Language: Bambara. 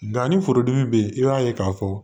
Nka ni forodimi bɛ yen i b'a ye k'a fɔ